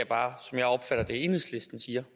bare som jeg opfatter det enhedslisten siger